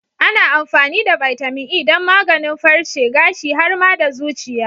Ana amfani da bitamin E don maganin farce, gashi, har ma da zuciya.